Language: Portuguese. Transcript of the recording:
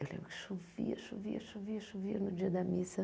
Eu lembro que chovia, chovia, chovia, chovia no dia da missa.